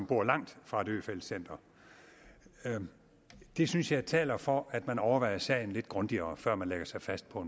bor langt fra et øfeldt center det synes jeg taler for at man overvejer sagen lidt grundigere før man lægger sig fast på